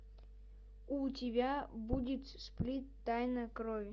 у тебя будет сплит тайна крови